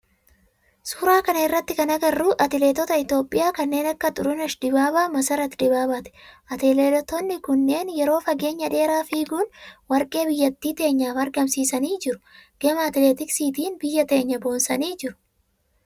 Suuraa kana irratti kan agarru atileetoota itiyoophiyaa kanneen akka Turuneesh Dibaabaa, Masarat Dibaabaati. Atileetonni kunneen yeroo fageenya dheeraa fiiguun warqee biyyattii teenyaaf argamsiisanii jiru. Gama atileetiksiitin biyya teenya boonsanii jiru.